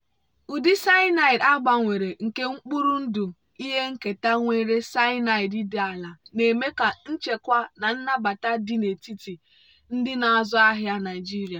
ụdị akpụ a gbanwere nke mkpụrụ ndụ ihe nketa nwere cyanide dị ala na-eme ka nchekwa na nnabata dị n'etiti ndị na-azụ ahịa naijiria.